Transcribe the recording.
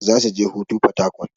Zasu je hutu a porharcourt.